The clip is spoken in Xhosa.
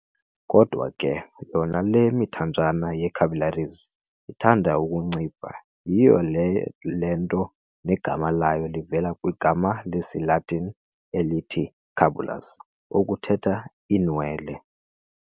Kodwa ke yona le mithanjana ye-capillaries ithanda ukuncipha, yhiyo le nto negama layo livela kwigama lesiLatini elithi "capillus" okuthetha "iinwele."